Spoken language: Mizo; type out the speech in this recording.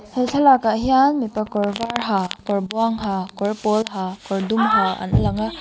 he thlalakah hian mipa kawr var ha kawr buang ha kawr pawl ha kawr dum ha an lang a.